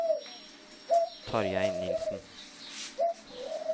Tarjei Nilsen